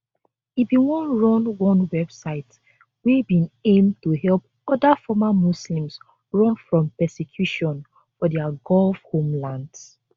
e bin run one website wey bin aim to help oda former muslims run from persecution for dia gulf homelands